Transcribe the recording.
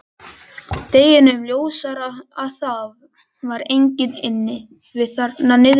Deginum ljósara að það var enginn inni við þarna niðri.